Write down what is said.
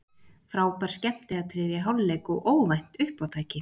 Frábær skemmtiatriði í hálfleik og óvænt uppátæki.